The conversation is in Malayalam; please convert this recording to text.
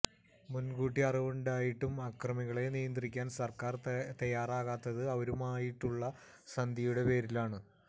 മുൻകൂട്ടി അറിവുണ്ടായിട്ടും അക്രമികളെ നിയന്ത്രിക്കാൻ സർക്കാർ തയാറാകാത്തത് അവരുമായുള്ള സന്ധിയുടെ പേരിലാണ്